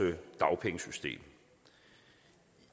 dagpengesystem